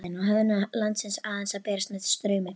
Á höfðingi landsins aðeins að berast með straumi?